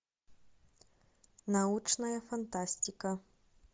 научная фантастика